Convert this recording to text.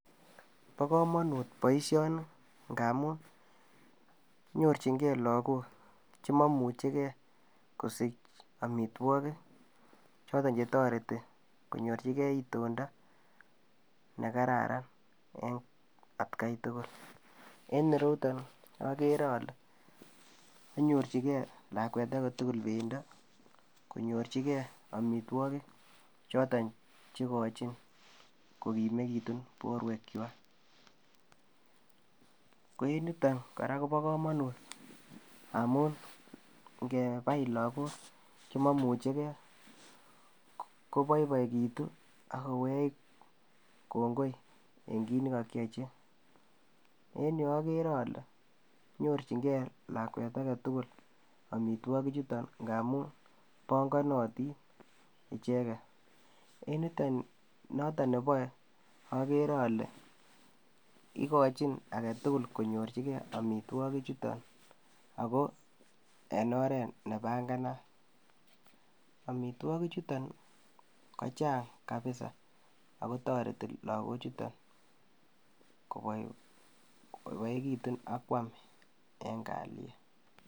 Bo komonut boishoni ngamun nyorchin gee lokok chemomuche gee kosich omitwokik choton chetoreti konyorchi gee itondo nekararan en atgai tukul. En ireruyon okere ole konyorchigee lakwet agetukul omitwokik pendo konyorchigee omitwokik choton chekochin kokimekitun borwek kwak. Ko en yuton koraa kobo komonut ngamun ingebai lokok chemomuche gee koboiboekitu ak kowech kongoi en kit nekokiochi, en yuu okere ole nyorchin gee lakwet agetukul omitwokik chuton ngamun bokonotin icheket en yuton noton neboe okere ole ikochi agetukul konyorchigee imitwokik chuton ako en oret nebanganat , omotwoki chuton kochang kabisa ako toreti lokok chuto koboi koboiboekitun ak kwam en kaliet.